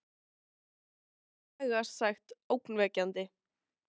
Útkoman var þó vægast sagt ógnvekjandi.